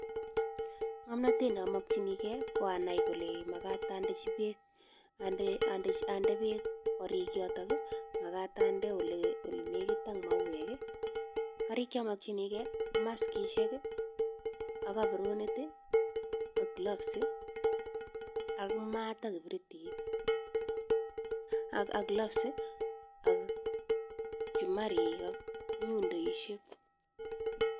Ng'amnatet ne amakchinigei ko anai kole makat andechi peek, ande peek koriik yotok i, makat ande ole nekit ak mauek. Karik che amakchinigei ko maskishek ak apronit i, ak gloves i, ak maat ak kipiritit ak pchumarik ak nyundoishek.